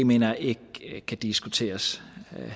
mener jeg ikke kan diskuteres